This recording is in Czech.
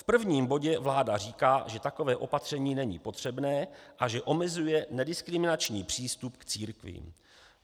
V prvním bodě vláda říká, že takové opatření není potřebné a že omezuje nediskriminační přístup k církvím.